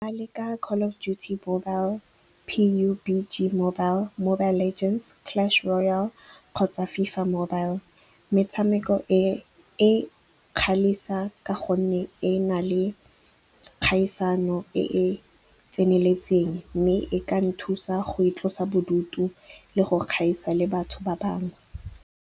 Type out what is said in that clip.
A leka Call of Duty Mobile, P_U_B_G Mobile, Mobile Legends, Clash Royal kgotsa FIFA Mobile. Metshameko e e ka gonne e na le kgaisano e e tseneletseng mme e ka nthusa go itlosa bodutu le go kgaisa le batho ba bangwe.